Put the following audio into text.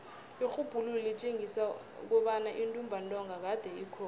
irhubhululo litjengisa kobana intumbantonga kade ikhona